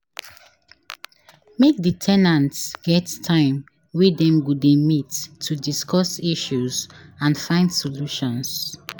Make di ten ants get time wey Dem go de meet to discuss issues and find solutions